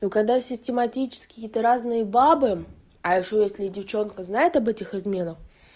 ну когда систематически какие-то разные бабы а ещё если девчонка знает об этих измена